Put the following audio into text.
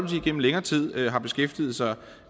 gennem længere tid har beskæftiget sig